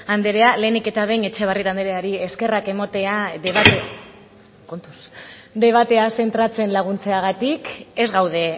andrea lehenik eta behin etxebarrieta andreari eskerrak ematea debatea zentratzen laguntzeagatik ez gaude